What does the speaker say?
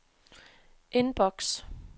indboks